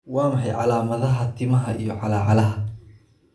Waa maxay calaamadaha iyo calaamadaha timaha timaha iyo calaacalaha?